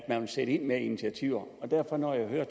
man ville sætte ind med af initiativer for når jeg hører